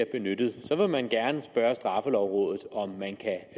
benyttet vil man gerne spørge straffelovrådet om man kan